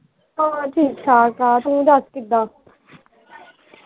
ਹੋਰ ਠੀਕ ਠਾਕ ਆ ਤੂੰ ਦੱਸ ਕਿੱਦਾਂ